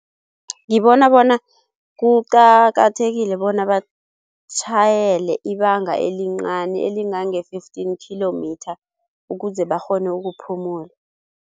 Ngibona bona kuqakathekile bona batjhayele ibanga elincani elingange-fifteen kilometre ukuze bakghone ukuphumula.